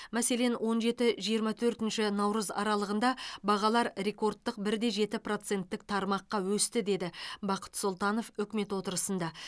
мәселен он жеті жиырма төртінші наурыз аралығында бағалар рекордтық бір де жеті проценттік тармаққа өсті деді бақыт сұлтанов үкімет отырысында